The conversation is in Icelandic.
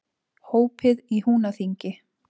Hópið í Húnaþingi.